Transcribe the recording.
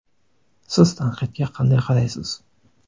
Siz tanqidga qanday qaraysiz?